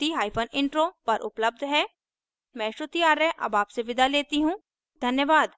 मैं श्रुति आर्य अब आपसे विदा लेती हूँ धन्यवाद